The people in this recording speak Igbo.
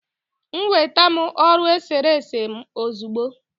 nweta m ọrụ eserese m ozugbo!